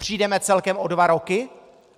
Přijdeme celkem o dva roky?